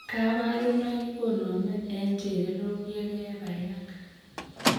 Kabarunaik koname en chererok yek ke bai ak